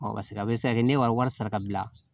paseke a bɛ se ka kɛ ne wari sara ka bila